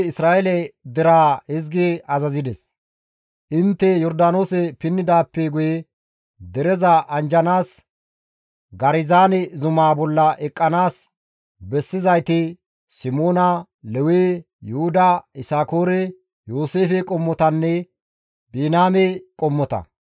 «Intte Yordaanoose pinnidaappe guye dereza anjjanaas Garizaane zumaa bolla eqqanaas bessizayti Simoona, Lewe, Yuhuda, Yisakoore, Yooseefe qommotanne Biniyaame qommota.